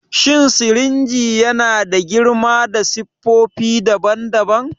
Shin sirinji yana da girma da siffofi daban-daban?